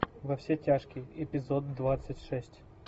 во все тяжкие эпизод двадцать шесть